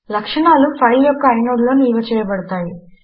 లక్షణములు ఫైల్ యొక్క ఐనోడ్ లో నిల్వ చేయబడతాయి